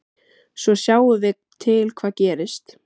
Svo sjáum við til hvað gerist.